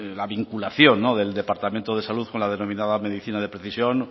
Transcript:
la vinculación del departamento de salud con la denominada medicina de precisión